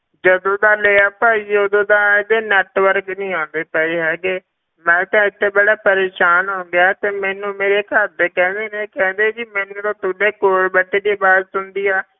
ਜਦੋਂ ਦਾ ਲਿਆ ਭਾਈ ਤੇ ਉਦੋਂ ਦਾ ਇਹਦੇ network ਨੀ ਆਉਂਦੇ ਪਏ ਹੈਗੇ, ਮੈਂ ਤਾਂ ਇੱਥੇ ਬੜਾ ਪਰੇਸਾਨ ਹੋ ਗਿਆ ਤੇ ਮੈਨੂੰ ਮੇਰੇ ਘਰਦੇ ਕਹਿੰਦੇ ਨੇ ਕਿ ਕਹਿੰਦੇ ਜੀ ਮੈਨੂੰ ਜਦੋਂ ਤੁਹਾਡੇ ਕੋਲ ਬੈਠੇ ਦੀ ਆਵਾਜ਼ ਸੁਣਦੀ ਆ,